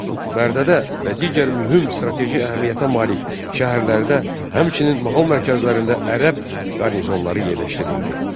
Bərdədə və digər mühüm strateji əhəmiyyətə malik şəhərlərdə, həmçinin mahal mərkəzlərində ərəb qarnizonları yerləşdirildi.